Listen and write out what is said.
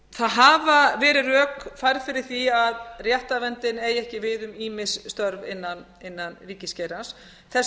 það hafa verið rök færð fyrir því að réttarverndin eigi ekki við um ýmis störf innan ríkisgeirans þessi